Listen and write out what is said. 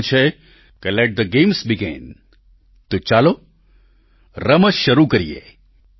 કહેવાય પણ છે કે લેટ થે ગેમ્સ બેગિન તો ચાલો રમત શરૂ કરીએ